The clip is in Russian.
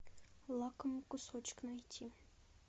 лакомый кусочек найти